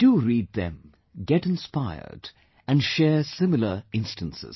Do read them, get inspired and share similar instances